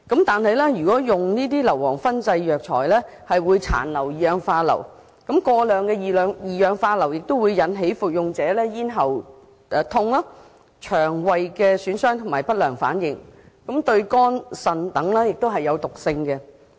但是，中藥材經硫磺燻製後，會殘留二氧化硫，而過量的二氧化硫會引起服用者咽喉疼痛、腸胃損傷等不良反應，對肝、腎等亦有毒性。